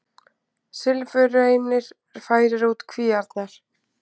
Silfurreynir færir út kvíarnar